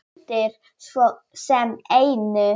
Gildir svo sem einu.